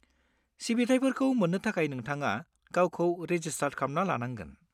सिबिथाइफोरखौ मोननो थाखाय नोंथाङा गावखौ रेजिस्टार खालामना लानांगोन।